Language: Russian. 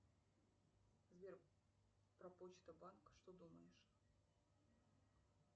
сбер про почта банк что думаешь